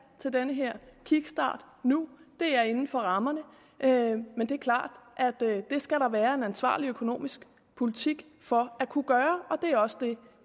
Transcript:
til den her kickstart nu det er inden for rammerne men det er klart at det skal der være en ansvarlig økonomisk politik for at kunne gøre og det er også det